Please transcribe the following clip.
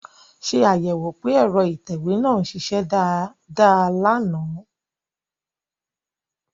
Ṣé àyẹ̀wò pé ẹ̀rọ ìtẹ̀wé náà ń ṣiṣẹ́ dáadáa lánàá